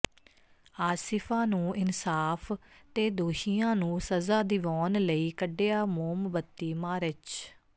ਆਸਿਫਾ ਨੂੰ ਇਨਸਾਫ਼ ਤੇ ਦੋਸ਼ੀਆਂ ਨੂੰ ਸਜ਼ਾ ਦਿਵਾਉਣ ਲਈ ਕੱਢਿਆ ਮੋਮਬੱਤੀ ਮਾਰਚ